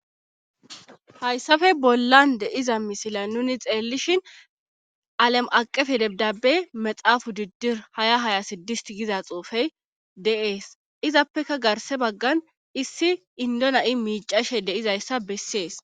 hayssafe bollan deiza misila nuni xeellishin alam7aqefe debdabe maxaafu diddir haya haya siddist giza xuufey de7ees izappeka garse baggan issi indona7i miicashe deizayssa bessees